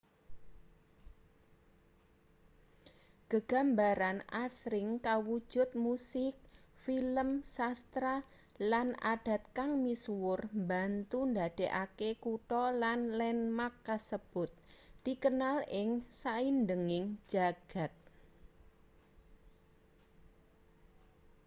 gegambaran asring kawujud musik film sastra lan adat kang misuwur mbantu ndadekake kutha lan landmark kasebut dikenal ing saindenging jagad